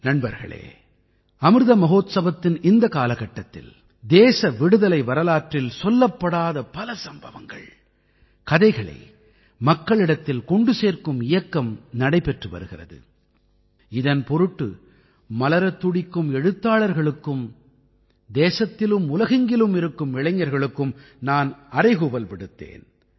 நண்பர்களே அமிர்த மஹோத்சவத்தின் இந்தக் காலகட்டத்தில் தேச விடுதலை வரலாற்றின் சொல்லப்படாத பல சம்பவங்கள்கதைகளை மக்களிடத்தில் கொண்டு சேர்க்கும் இயக்கம் நடைபெற்று வருகிறது இதன் பொருட்டு மலரத் துடிக்கும் எழுத்தாளர்களுக்கும் தேசத்திலும் உலகெங்கிலும் இருக்கும் இளைஞர்களுக்கும் நான் அறைகூவல் விடுத்தேன்